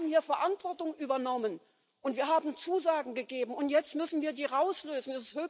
Wir haben hier Verantwortung übernommen und Zusagen gegeben, und jetzt müssen wir die einlösen.